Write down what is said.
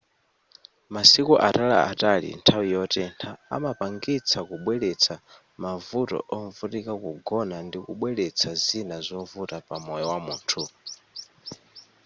masiku ataliatali nthawi yotentha amapangitsa kubweletsa mavuto ovutika kugona ndikubweletsa zina zovuta pamoyo wamunthu